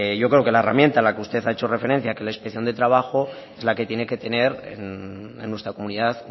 yo creo que la herramienta a la que usted ha hecho referencia que es la inspección de trabajo es la que tiene que tener en nuestra comunidad